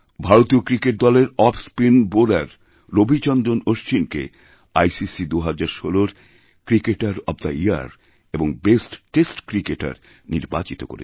ভারতীয় ক্রিকেট দলের off spin bowler Ravichandran অশ্বিনকে আইসিসি ২০১৬রক্রিকেটার অব দ্য ইয়ার এবং বেস্ট টেস্ট ক্রিকেটার নির্বাচিত করেছেন